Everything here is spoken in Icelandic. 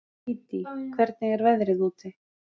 Dídí, hvernig er veðrið úti?